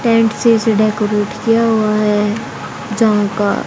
tent से decorate किया हुआ है जहां का--